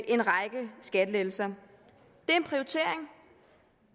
en række skattelettelser det